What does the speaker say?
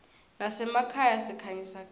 nasemakhaya sikhanyisa gezi